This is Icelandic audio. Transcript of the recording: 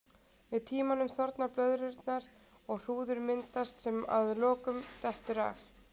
Með tímanum þorna blöðrurnar og hrúður myndast sem að lokum dettur af.